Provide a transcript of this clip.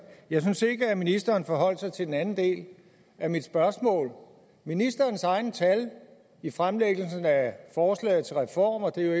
jeg synes ikke at ministeren forholdt sig til den anden del af mit spørgsmål ministerens egne tal i fremlæggelsen af forslagets reform og de